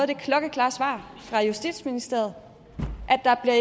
det klokkeklare svar fra justitsministeriet at der